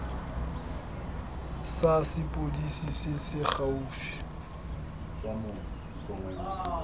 sa sepodisi se se gaufi